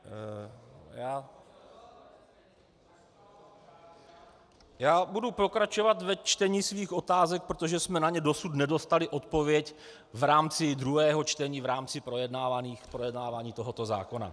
Já budu pokračovat ve čtení svých otázek, protože jsme na ně dosud nedostali odpověď v rámci druhého čtení v rámci projednávání tohoto zákona.